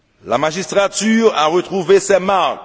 la magistrature a retrouvé ses marques